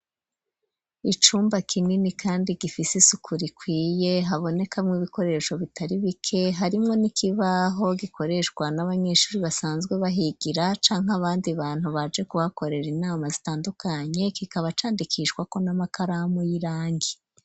Icumba kinini kandi gifise isuku rikwiye, habonekamw 'ibikoresho bitari bike, harimwo n'ikibaho gikoreshwa n'abanyeshuri basanzwe bahigira, cank' abandi bantu baje kuhakorera inama zitandukanye ,kikaba candikishwa ko n'amakaramu y'irangi.